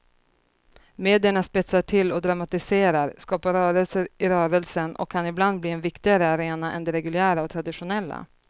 Medierna spetsar till och dramatiserar, skapar rörelser i rörelsen och kan ibland bli en viktigare arena än de reguljära och traditionella.